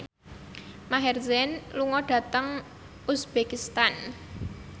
Maher Zein lunga dhateng uzbekistan